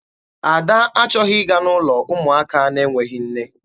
Ada achọghị ịga n'ụlọ ụmụaka na-enweghị nne.